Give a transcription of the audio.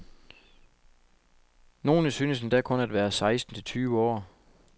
Nogle synes endda kun at være seksten tyve år.